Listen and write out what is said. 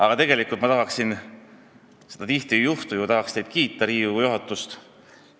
Aga tegelikult ma tahan – seda tihti ei juhtu – teid, Riigikogu juhatus, kiita.